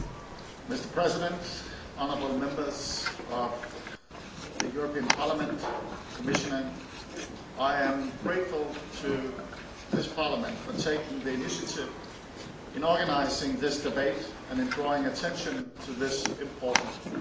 Mr President, honourable Members of the European Parliament, Commissioner, I am grateful to this Parliament for taking the initiative in organising this debate and in drawing attention to this important issue.